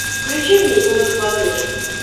включи мне ю на смотрешке